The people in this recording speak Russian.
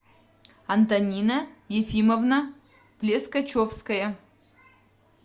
антонина ефимовна плескачевская